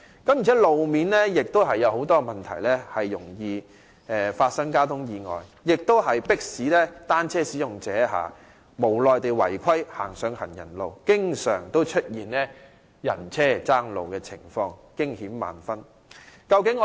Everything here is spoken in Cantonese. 再者，路面亦有很多問題，容易發生交通意外，迫使單車使用者無奈地違規駛上行人路，以致經常出現人車爭路的情況，驚險萬分。